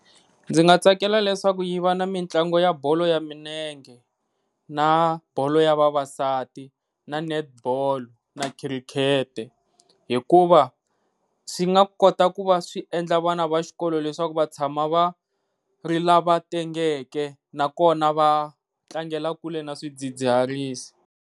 Ndzi nga tsakela leswaku yi va na mitlango ya bolo ya milenge na bolo ya vavasati na netball na cricket, hikuva swi nga kota ku va swi endla vana va xikolo leswaku va tshama va ri lava tengeke na kona va tlangela kule na swidzidziharisi.